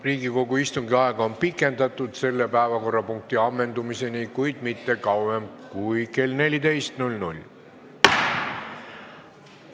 Riigikogu istungi aega on pikendatud selle päevakorrapunkti ammendumiseni, kuid mitte kauem kui kella 14-ni.